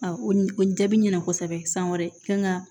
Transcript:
o jaabi ɲɛna kosɛbɛ san wɛrɛ kan ka